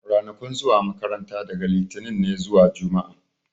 Ranakun zuwa makaranta daga litinin ne zuwa juma'a